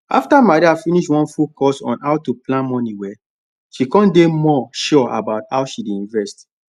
after maria finish one full course on how to plan money well she come dey more sure about how she dey invest